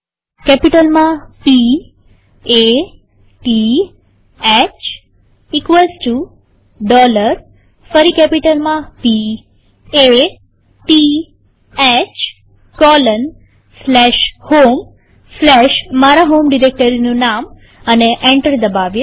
કેપિટલમાંP A T H ફરી capital માંP A T H 160 homeમારા હોમ ડિરેક્ટરીનું નામ એન્ટર દબાવીએ